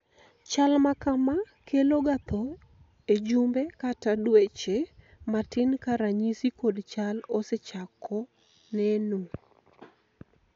chal makama kelo ga tho ejumbe kata dweche matin ka ranyisi kod chal osechako neno